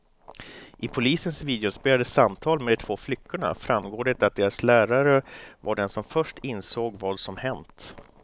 I polisens videoinspelade samtal med de två flickorna framgår det att deras lärare var den som först insåg vad som hänt.